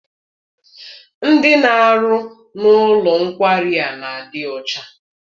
Ndị na-arụ n'ụlọ nkwari a n'adi ọcha.